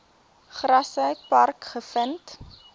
grassy park gevind